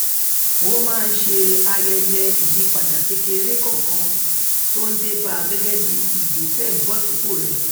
ó máa ń ṣe ayẹyẹ ìyípadà kékeré kòòkan tó ń dé ba gẹgẹ bí ìgbésẹ ìmúbòsípò rè